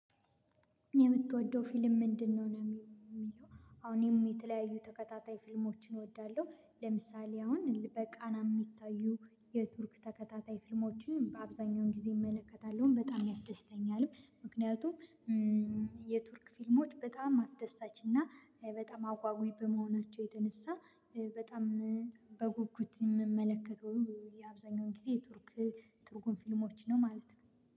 የምትወደው ፊልም ምንድነው? ነው የሚለው አሁን እኔ የተለያዩ ተከታታይ ፊልሞችን እወዳለሁ ለምሳሌ አሁን በቃና የሚታዩ የቱርክ ተከታታይ ፊልሞችን በአብዛኛውን ጊዜ እመለከታለሁ በጣም ያስደስተኛል። ምክንያቱም የቱርክ ፊልሞች በጣም አስደሳች እና በጣም አጉአጊ በመሆናቸው የተነሳ በጣም በጉጉት የምመለከተው የአብዛኛውን ጊዜ ትርክ ትርጉም ፊልሞች ነው። ማለት ነው።